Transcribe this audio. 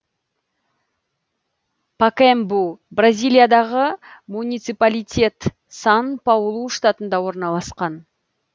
пакаэмбу бразилиядағы муниципалитет сан паулу штатында орналасқан